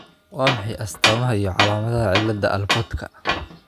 Waa maxay astamaha iyo calaamadaha cilada Alportka?